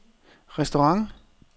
restaurant